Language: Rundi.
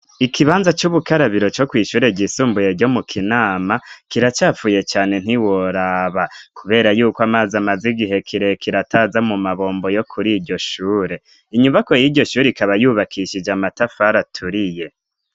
Ikibanza c'ubukarabiro co kwishure risumbuye ryo mu Kinama kiracapfuye cane ntiworaba, kubera yuko amazi amaze igihe kire kirataza mu mabombo yo kuri iryo shure inyubako y'iryo shure ikaba yubakishije amatafar aturiye.